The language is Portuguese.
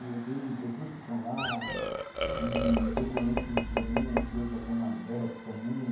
E tem pessoas que estão lá, e que eu conheço desde o começo, que hoje já estão mais velhos também.